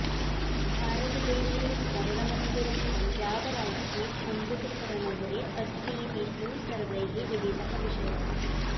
भारतदेशे स्वर्णमन्दिरं पञ्जाबराज्ये अमृतसरनगरे अस्तीति तु सर्वैः विदितः विषयः